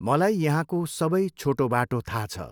मलाई यहाँको सबै छोटो बाटो थाहा छ।